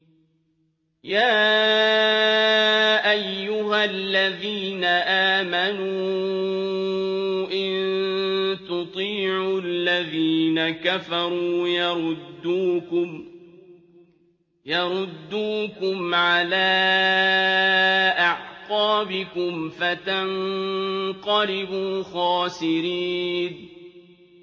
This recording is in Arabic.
يَا أَيُّهَا الَّذِينَ آمَنُوا إِن تُطِيعُوا الَّذِينَ كَفَرُوا يَرُدُّوكُمْ عَلَىٰ أَعْقَابِكُمْ فَتَنقَلِبُوا خَاسِرِينَ